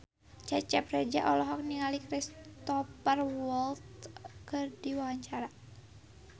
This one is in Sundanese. Cecep Reza olohok ningali Cristhoper Waltz keur diwawancara